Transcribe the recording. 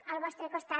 al vostre costat